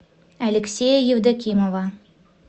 алексея евдокимова